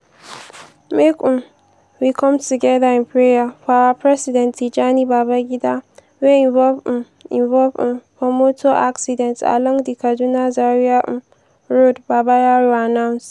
make um we come togeda in prayer for our president tijani babangida wey involve um involve um for motor accident along di kaduna-zaria um road” babayaro announce.